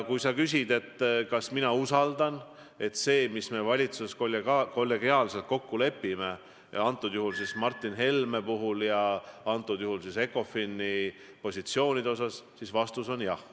Kui sa küsid, et kas mina usaldan, et see, mis me valitsuses kollegiaalselt kokku lepime, kehtib Martin Helme ja ECOFIN-i positsioonide puhul, siis vastus on jah.